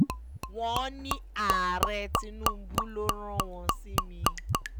wọ́n ní ààrẹ tinubu ló rán wọn sí mi